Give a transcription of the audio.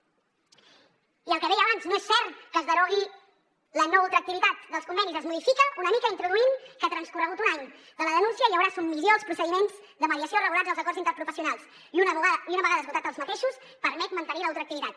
i el que deia abans no és cert que es derogui la no ultraactivitat dels convenis es modifica una mica introduint que transcorregut un any de la denúncia hi haurà submissió als procediments de mediació regulats als acords interprofessionals i una vegada esgotats aquests permet mantenir la ultraactivitat